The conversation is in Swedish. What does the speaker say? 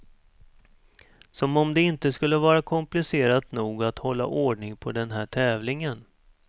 Som om det inte skulle vara komplicerat nog att hålla ordning på den här tävlingen.